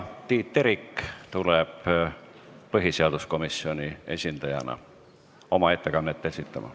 Tiit Terik tuleb põhiseaduskomisjoni esindajana oma ettekannet esitama.